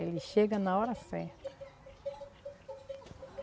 Ele chega na hora certa.